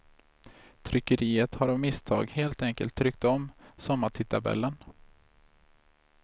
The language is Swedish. Tryckeriet har av misstag helt enkelt tryckt om sommartidtabellen.